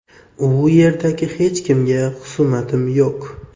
U yerda hech kimga xusumatim yo‘q.